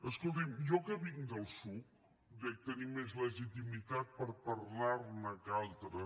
escolti’m jo que vinc del psuc dec tenir més legitimitat per parlar ne que altres